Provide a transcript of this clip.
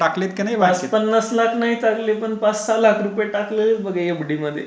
अरे पाच पन्नास लाख नाही चालले पण पाच सहा लाख रुपये टाकले बघा एफडी मध्ये.